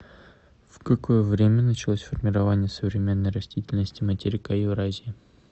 в какое время началось формирование современной растительности материка евразии